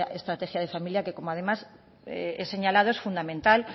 estrategia de familia que como además he señalado es fundamental